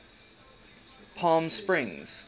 palmsprings